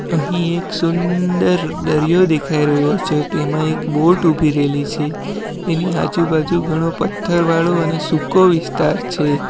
અહીં એક સુંદર દરિયો દેખાય રહ્યો છે તેમાં એક બોટ ઊભી રેલી છે એની આજુબાજુ ઘણો પથ્થરવાળો અને સૂકો વિસ્તાર છે.